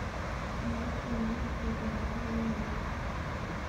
Iyokte walutiet en baruet ne letyin